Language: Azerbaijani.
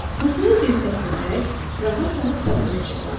Masaya dirsəklənərək rahat-rahat papiros çəkirdi.